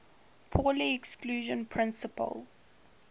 pauli exclusion principle